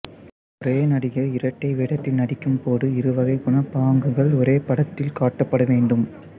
ஒரே நடிகர் இரட்டை வேடத்தில் நடிக்கும் போது இருவகைக் குணப்பாங்குகள் ஒரே படத்தில் காட்டப்பட வேண்டும்